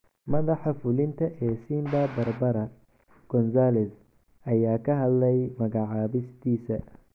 Madaxa fulinta ee Simba Barbara Gonzalez ayaa ka hadlay magacaabistiisa